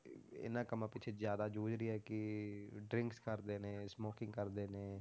ਇਹਨਾਂ ਕੰਮਾਂ ਪਿੱਛੇ ਜ਼ਿਆਦਾ ਜੂਝ ਰਹੀ ਹੈ ਕਿ drinks ਕਰਦੇ ਨੇ smoking ਕਰਦੇ ਨੇ,